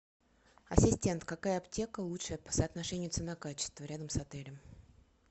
ассистент какая аптека лучшая по соотношению цена качество рядом с отелем